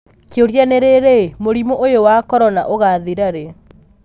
Kĩũria nĩ rĩrĩ, mũrimũ ũyũ wa Korona ũgathirarĩ ?